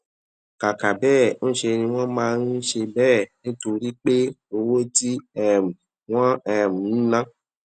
kàkà béè ńṣe ni wón máa ń ṣe béè nítorí pé owó tí um wón um ń ná